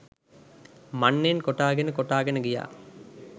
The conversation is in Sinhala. මන්නයෙන් කොටාගෙන කොටාගෙන ගියා